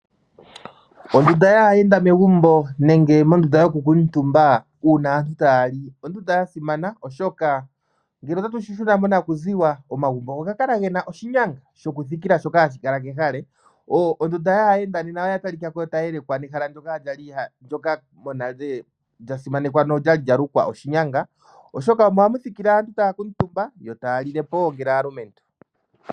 Ondunda yaayenda megumbo nenge mondunda yokukuutumba uuna aantu taya li, ondunda yasimana oshoka ngele ota tu shishina monakuziwa, omagumbo ogakala gena oshinyanga shokuthikila shoka hashikala kehale. Ondunda yaayenda nena oyatalika ko tayi yelekwa nehala ndjoka monale lyasimanekwa nolyali lyalukwa oshinyanga, oshoka omo hamuthikile aantu taya kuutumba yo taya lile po wo ngele aalumentu.